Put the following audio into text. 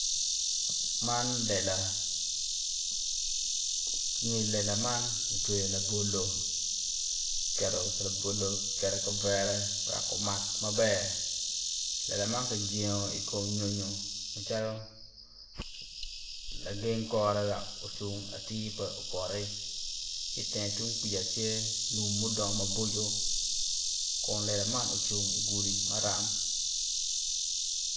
man lela i nge lela man ki tweyo labolo ki keto labolo ki kketo i kavere wek kumak maber lela ma ki jengo i kom nyonyo macalo la geng kore wek ocung atir wek pe opoti ki itenge tung kwija tye lum mudongo maboco kun lela man ocung i gudi maram